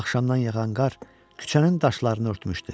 Axşamdan yağan qar küçənin daşlarını örtmüşdü.